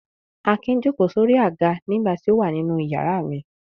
Akin jókòó sórí àga nígbà tí ó wà nínú ìyàrá mi.